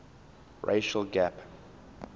racial gap